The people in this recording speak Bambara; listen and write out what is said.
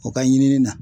O ka ɲinini na